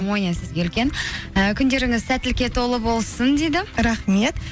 амония сізге үлкен і күндеріңіз сәттілікке толы болсын дейді рахмет